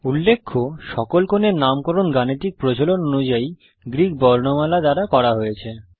উল্লেখ্য সকল কোণের নামকরণ গাণিতিক প্রচলন অনুযায়ী গ্রিক বর্ণমালা দ্বারা করা হয়েছে